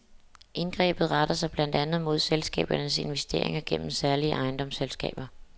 Indgrebet retter sig blandt andet mod selskabernes investeringer gennem særlige ejendomsselskaber.